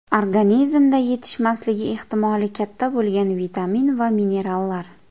Organizmda yetishmasligi ehtimoli katta bo‘lgan vitamin va minerallar.